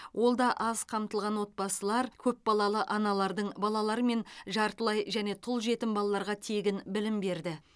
ол аз қамтылған отбасылар көпбалалы аналардың балалары мен жартылай және тұл жетім балаларға тегін білім берді